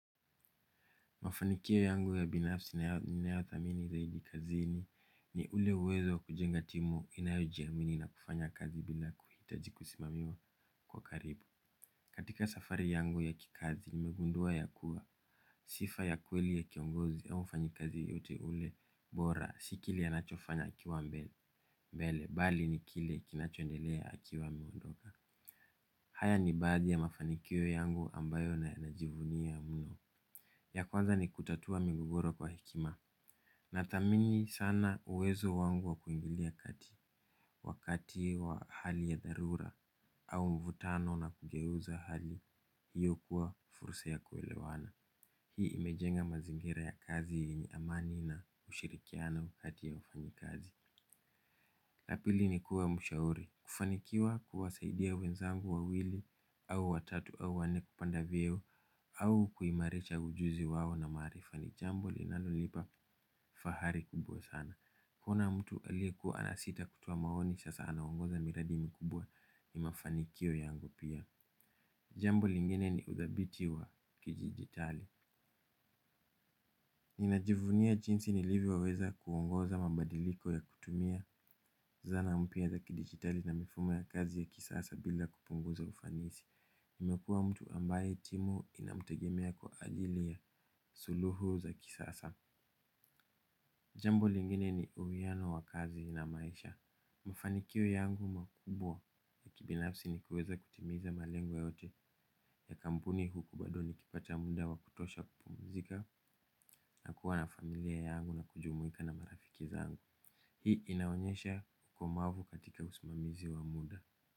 Mafanikio yangu ya binafsi ninayothamini zaidi kazini ni ule uwezo wa kujenga timu inayojiamini na kufanya kazi bila kuhitaji kusimamiwa kwa karibu. Katika safari yangu ya kikazi nimegundua ya kuwa sifa ya kweli ya kiongozi au mfanyikazi yeyote ule bora si kile anachofanya akiwa mbele bali ni kile kinachoendelea akiwa ameondoka. Haya ni baadhi ya mafanikio yangu ambayo naeza jivunia mno. Ya kwanza ni kutatua migogoro kwa hekima. Nathamini sana uwezo wangu wa kuingilia kati wakati wa hali ya dharura au mvutano na kugeuza hali hiyo kuwa fursa ya kuelewana. Hii imejenga mazingira ya kazi yenye amani na ushirikiano kati ya wafanyikazi. La pili, ni kuwa mshauri. Kufanikiwa kuwasaidia wenzangu wawili au watatu au wanne kupanda vyeo au kuhimarisha ujuzi wao na maarifa ni jambo linalonipa fahari kubwa sana. Kuona mtu aliyekuwa anasita kutoa maoni sasa anaongoza miradi mikubwa. Ni mafanikio yangu pia. Jambo lingine ni uthabiti wa kidijitali. Ninajivunia jinsi nilivyoweza kuongoza mabadiliko ya kutumia zana mpya za kidijitali na mifumo ya kazi ya kisasa bila kupunguza ufanisi. Nimekuwa mtu ambaye timu inamtegemea kwa ajili ya suluhu za kisasa. Jambo lingine ni uwiano wa kazi na maisha. Mafanikio yangu makubwa ya kibinafsi ni kuweza kutimiza malengo yote. Ya kampuni huku bado nikipata muda wa kutosha kupumzika nakuwa na familia yangu na kujumuika na marafiki zangu. Hii inaonyesha ukomavu katika usimamizi wa muda.